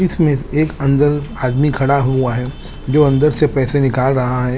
इसमें एक अंदल आदमी खड़ा हुआ है जो अन्दर से पेसे निकल रहा है।